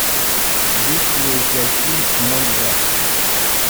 есть ли у тебя фильм мой брат